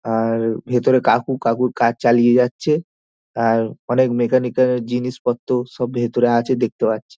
আর ভিতরে কাকু কাকুর কাজ চালিয়ে যাচ্ছে | আর অনেক মেকানিক্যাল জিনিসপত্র সব ভিতরে আছে দেখতে পারছি ।